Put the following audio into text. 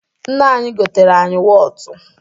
Nne anyị goteere anyị wọtụ.